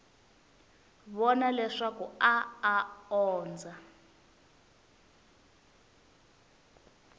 vona leswaku a a ondza